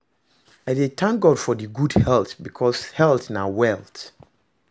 I dey tank God for gud health bikos health na wealth